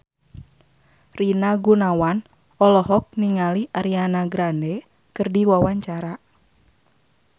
Rina Gunawan olohok ningali Ariana Grande keur diwawancara